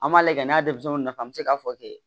An b'a lajɛ n'a denmisɛnninw nafa mi se k'a fɔ ten